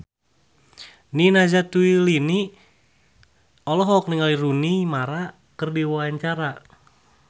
Nina Zatulini olohok ningali Rooney Mara keur diwawancara